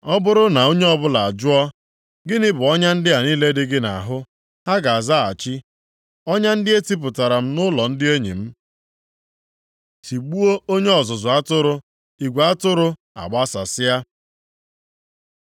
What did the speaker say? Ọ bụrụ na onye ọbụla ajụọ, ‘Gịnị bụ ọnya ndị a niile dị gị nʼahụ?’ Ha ga-azaghachi, ‘Ọnya ndị etipụtara m nʼụlọ ndị enyi m.’ Tigbuo onye ọzụzụ atụrụ, igwe atụrụ agbasasịa